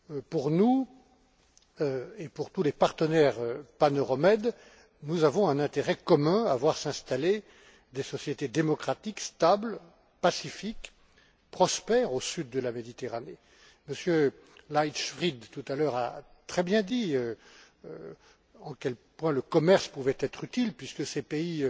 Pour nous, et pour tous les partenaires paneuromed, nous avons un intérêt commun à voir s'installer des sociétés démocratiques, stables, pacifiques, prospères au sud de la Méditerranée. M. Leichtfried, tout à l'heure, a très bien dit en quels points le commerce pouvait être utile puisque ces pays